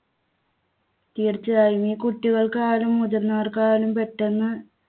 തീർച്ചയായും ഈ കുട്ടികൾക്ക് ആയാലും മുതിർന്നവർക്കായാലും പെട്ടെന്ന്